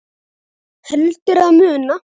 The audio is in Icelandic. Heldur að muna.